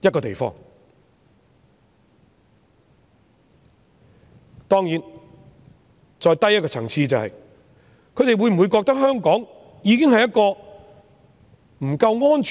當然，再低一個層次，是他們會否認為香港不夠安全？